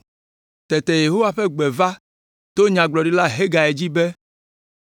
Tete Yehowa ƒe gbe va to Nyagblɔɖila Hagai dzi be,